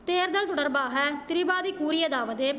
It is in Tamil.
தேர்தல் தொடர்பாக திரிபாதி கூறியதாவது